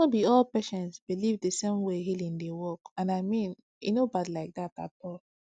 no be all patients believe the same way healing dey work and i mean e no bad like that at all